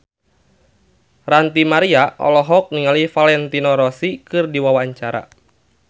Ranty Maria olohok ningali Valentino Rossi keur diwawancara